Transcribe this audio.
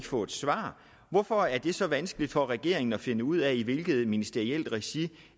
få et svar hvorfor er det så vanskeligt for regeringen at finde ud af i hvilket ministerielt regi